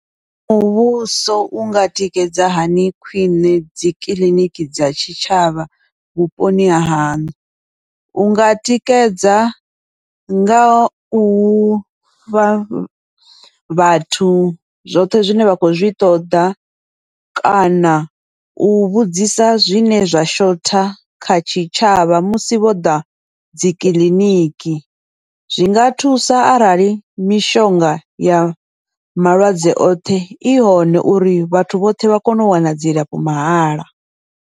Muvhuso unga tikedza hani khwiṋe dzi kiḽiniki dza tshitshavha vhuponi hahaṋu, unga tikedza nga ufha vhathu zwoṱhe zwine vha khou zwi ṱoḓa kana u vhudzisa zwine zwa shotha kha tshitshavha, musi vho ḓa dzikiḽiniki. Zwinga thusa arali mishonga ya malwadze oṱhe i hone uri vhathu vhoṱhe vha kone u wana dzilafho mahala.